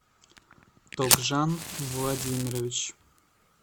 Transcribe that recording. тогжан владимирович